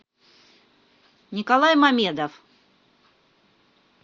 николай мамедов